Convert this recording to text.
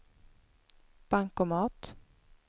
bankomat